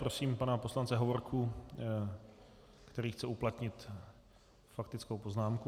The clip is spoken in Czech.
Prosím pana poslance Hovorku, který chce uplatnit faktickou poznámku.